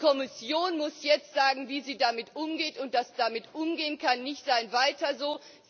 Die Kommission muss jetzt sagen, wie sie damit umgeht, und das Damit Umgehen kann nicht sein Weiter